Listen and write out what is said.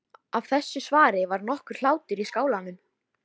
Af þessu svari varð nokkur hlátur í skálanum.